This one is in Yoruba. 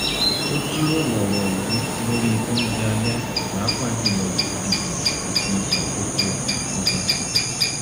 a jíròrò ọ̀rọ̀ ìlú lórí oúnjẹ alẹ́ pàápàá jùlọ ìdìbò àti àkókò àkójọ